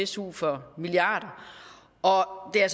su for milliarder og og det er